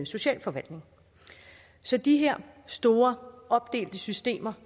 socialforvaltning så de her store opdelte systemer